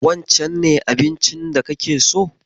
Wancen ne abincin da kake so?